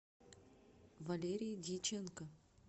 валерии дьяченко